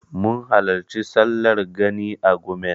Mun halarci sallar Gani a Gumel.